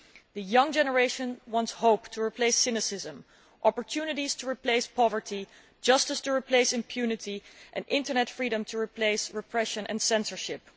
The young generation wants hope to replace cynicism, opportunities to replace poverty, justice to replace impunity and internet freedom to replace repression and censorship.